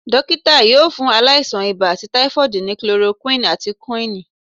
Dọkita yóò fún ailasan ìbá àti typhoid ní chloroquine àti quinn